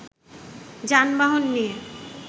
যানবহন নিয়ে